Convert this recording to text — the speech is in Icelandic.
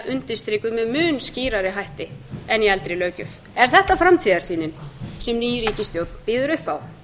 undirstrikuð með mun skýrari hætti en í eldri löggjöf e þetta framtíðarsýnin sem ný ríkisstjórn býður upp